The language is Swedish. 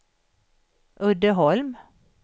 Uddeholm